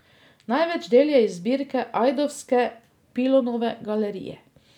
Največ del je iz zbirke ajdovske Pilonove galerije.